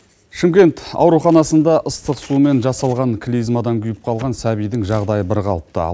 шымкент ауруханасында ыстық сумен жасалған клизмадан күйіп қалған сәбидің жағдайы бірқалыпты